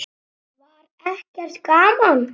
Var ekki gaman?